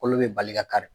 Kolo bɛ bali ka kari